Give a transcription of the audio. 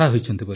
ଆଜ୍ଞା ସାର୍